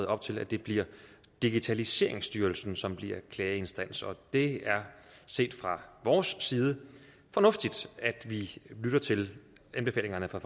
op til at det bliver digitaliseringsstyrelsen som bliver klageinstans det er set fra vores side fornuftigt at vi lytter til anbefalingerne fra